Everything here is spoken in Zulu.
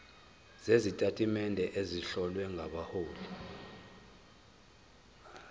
sezitatimende ezihlowe ngabahloli